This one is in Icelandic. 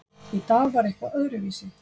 Í dag var eitthvað öðruvísi.